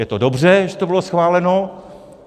Je to dobře, že to bylo schváleno.